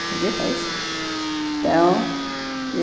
Acredita isso? Então...